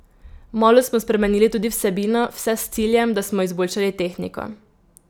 Malo smo spremenili tudi vsebino, vse s ciljem, da smo izboljšali tehniko.